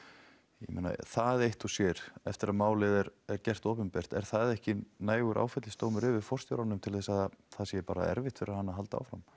ég meina það eitt og sér eftir að málið er gert opinbert er það ekki nægur áfellisdómur yfir forstjóranum til þess að það sé bara erfitt fyrir hann að halda áfram